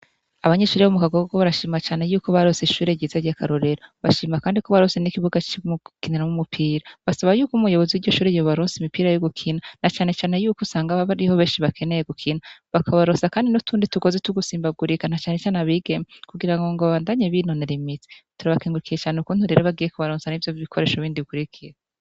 Abanyeshuri bo mu kagogo barashima cyane yuko barose ishure ryiza ryakarorera bashima kandi ko barose n'ikibuga co gukiniramwo umupira basaba yuko umuyobozi wiryo shuri yobaronsa imipira yo gukina na cyane cyane yuko usanga baba bariho beshi bakeneye gukina bakabarosa kandi n'utundi tugozi two gusimbagurika na cane cane abigeme kugirango ngo bandanye binonora imitsi turabakengurukiye cane ukuntubagiye ku baronsa ivyo bikoresho bindi bikurikira.